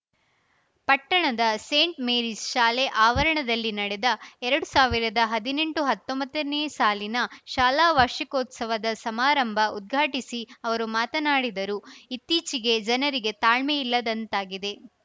ಪಟ್ಟಣದ saint Mary's ಶಾಲೆ ಆವರಣದಲ್ಲಿ ನಡೆದ ಎರಡು ಸಾವಿರದ ಹದಿನೆಂಟುಹತ್ತೊಂಬತ್ತನೇ ಸಾಲಿನ ಶಾಲಾ ವಾರ್ಷಿಕೋತ್ಸವದ ಸಮಾರಂಭ ಉದ್ಘಾಟಿಸಿ ಅವರು ಮಾತನಾಡಿದರು ಇತ್ತೀಚಿಗೆ ಜನರಿಗೆ ತಾಳ್ಮೆಯಿಲ್ಲದಂತಾಗಿದೆ